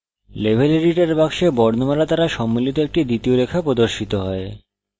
level editor box বর্ণমালা দ্বারা সম্মিলিত একটি দ্বিতীয় রেখা প্রদর্শিত হয়